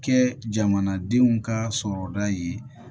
Kɛ jamanadenw ka sɔrɔda ye